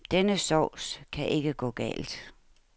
Denne sauce kan ikke gå galt.